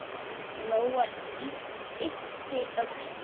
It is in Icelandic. Lóa yppti öxlum.